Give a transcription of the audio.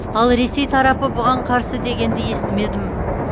ал ресей тарапы бұған қарсы дегенді естімедім